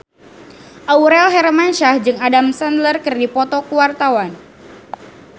Aurel Hermansyah jeung Adam Sandler keur dipoto ku wartawan